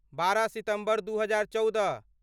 बारह सितम्बर दू हजार चौदह